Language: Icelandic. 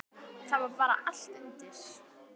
Það var bara allt undir.